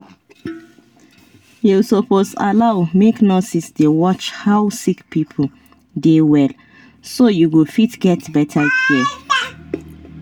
you suppose allow make nurses dey watch how sick people dey well so you go fit get better care